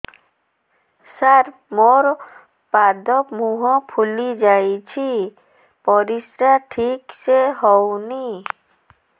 ସାର ମୋରୋ ପାଦ ମୁହଁ ଫୁଲିଯାଉଛି ପରିଶ୍ରା ଠିକ ସେ ହଉନି